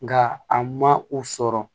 Nga a ma u sɔrɔ